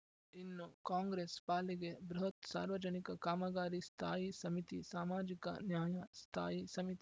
ಇನ್ನು ಕಾಂಗ್ರೆಸ್‌ ಪಾಲಿಗೆ ಬೃಹತ್‌ ಸಾರ್ವಜನಿಕ ಕಾಮಗಾರಿ ಸ್ಥಾಯಿ ಸಮಿತಿ ಸಾಮಾಜಿಕ ನ್ಯಾಯ ಸ್ಥಾಯಿ ಸಮಿತಿ